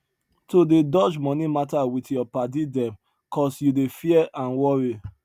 to dey dodge money matter with your padi dem cos you dey fear and worry